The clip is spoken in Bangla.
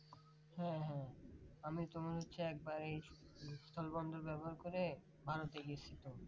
হ্যাঁ হ্যাঁ আমি তোমার হচ্ছে একেবারেই স্থলবন্দর ব্যবহার করে ভারতে গেসিলাম